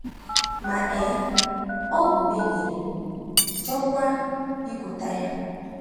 Ma um ọ bụ mehiere, chọọkwa ikweta ya.